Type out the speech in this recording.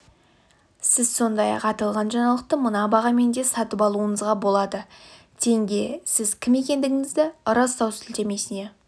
сіз сондай-ақ аталған жаңалықты мына бағамен де сатып алуыңызға болады тенге сіз кім екендігіңізді растау сілтемесіне